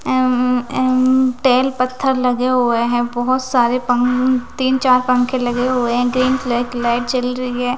M एम tile पत्थर लगे हुए हैं बहुत सारे पंअंअंअं तीन चार पंखे लगे हुए हैं ग्रीन कलर की लाइट जल री एै।